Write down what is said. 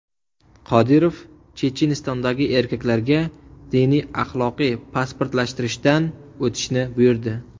Qodirov Chechenistondagi erkaklarga diniy-axloqiy pasportlashtirishdan o‘tishni buyurdi.